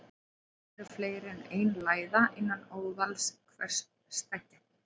Oft eru fleiri en ein læða innan óðals hvers steggs.